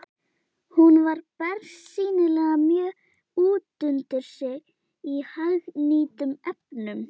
Hún var bersýnilega mjög útundir sig í hagnýtum efnum.